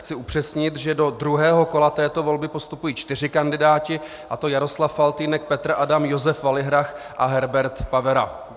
Chci upřesnit, že do druhého kola této volby postupují čtyři kandidáti a to Jaroslav Faltýnek, Petr Adam, Josef Valihrach a Herbert Pavera.